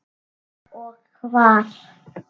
Og hvar.